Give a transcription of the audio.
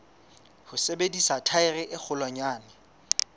ho sebedisa thaere e kgolwanyane